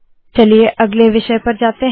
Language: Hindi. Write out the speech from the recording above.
चलिए अगले विषय पर जाते है